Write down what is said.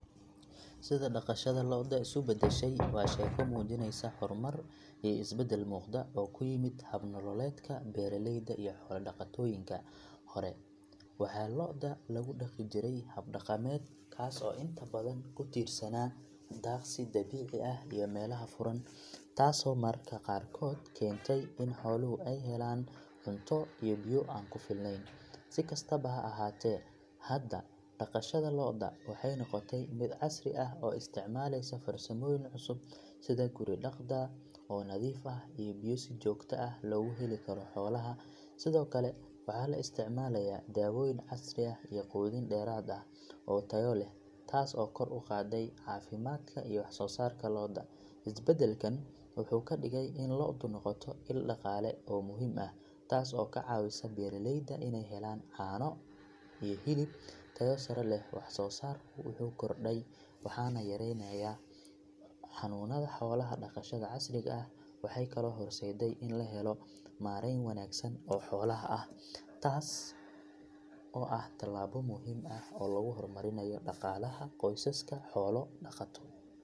Sida dhaqashada lo'da isu beddeshay waa sheeko muujinaysa horumar iyo isbeddel muuqda oo ku yimid hab nololeedka beeraleyda iyo xoolo dhaqatooyinka hore waxaa lo'da lagu dhaqi jiray hab dhaqameed kaas oo inta badan ku tiirsanaa daaqsi dabiici ah iyo meelaha furan taasoo mararka qaarkood keentay in xooluhu ay helaan cunto iyo biyo aan ku filnayn si kastaba ha ahaatee hadda dhaqashada lo'da waxay noqotay mid casri ah oo isticmaalaysa farsamooyin cusub sida guri dhaqda oo nadiif ah iyo biyo si joogto ah loogu heli karo xoolaha sidoo kale waxaa la isticmaalayaa daawooyin casri ah iyo quudin dheeraad ah oo tayo leh taas oo kor u qaadday caafimaadka iyo wax soo saarka lo'da isbedelkan wuxuu ka dhigay in lo'du noqoto il dhaqaale oo muhiim ah taas oo ka caawisa beeraleyda inay helaan caano iyo hilib tayo sare leh wax soo saarku wuu kordhay waxaana yaraanayay xanuunada xoolaha dhaqashada casriga ah waxay kaloo horseedday in la helo maarayn wanaagsan oo xoolaha ah taas oo ah talaabo muhiim ah oo lagu horumarinayo dhaqaalaha qoysaska xoolo dhaqato.